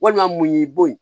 Walima mun y'i bon